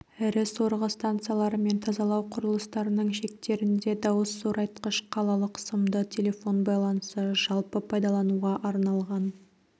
ірі сорғы станциялары мен тазалау құрылыстарының шектерінде дауыс зорайтқыш қалалық сымды телефон байланысы жалпы пайдалануға арналған